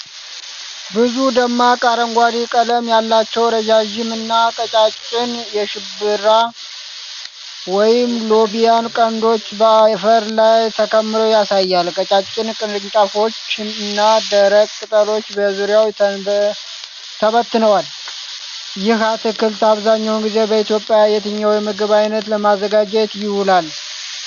ብዙ ደማቅ አረንጓዴ ቀለም ያላቸው ረዣዥም እና ቀጫጭን የሽምብራ ወይም ሎብያ ቀንዶች በአፈር ላይ ተከምረው ያሳያል። ቀጫጭን ቅርንጫፎች እና ደረቅ ቅጠሎች በዙሪያው ተበትነዋል። ይህ አትክልት አብዛኛውን ጊዜ በኢትዮጵያ የትኛው የምግብ ዓይነት ለማዘጋጀት ይውላል?